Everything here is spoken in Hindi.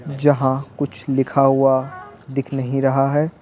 जहां कुछ लिखा हुआ दिख नहीं रहा है।